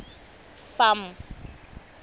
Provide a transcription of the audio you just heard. farm